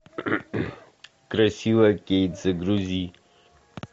красивая кейт загрузи